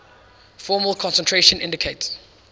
formal concentration indicates